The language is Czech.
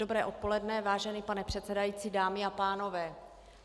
Dobré odpoledne, vážený pane předsedající, dámy a pánové.